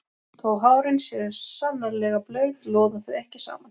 Þó að hárin séu sannarlega blaut loða þau ekki saman.